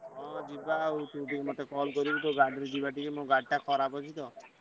ହଁ ଯିବା ଆଉ ତୁ ଟିକେ ମତେ call କରିବୁ ତୋ ଗାଡି ରେ ଯିବା ମୋ ଗାଡି ଟା ଖରାପ ଅଛି ତ।